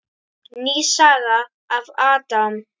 Ný saga af Adam.